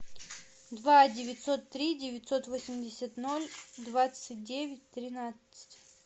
два девятьсот три девятьсот восемьдесят ноль двадцать девять тринадцать